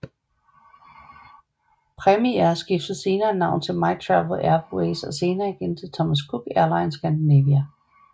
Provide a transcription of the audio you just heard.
Premiair skiftede senere navn til MyTravel Airways og senere igen til Thomas Cook Airlines Scandinavia